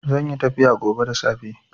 Zanyi tafiya gobe da safe